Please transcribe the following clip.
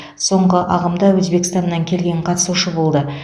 соңғы ағымда өзбекстаннан келген қатысушы болды